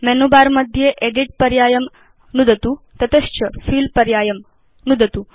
menu bar मध्ये edit पर्यायं नुदतु तत च फिल पर्यायं नुदतु